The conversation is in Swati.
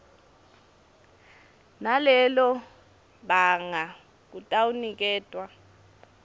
nalelo banga kutawuniketwa